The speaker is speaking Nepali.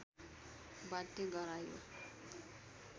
बाध्य गरायो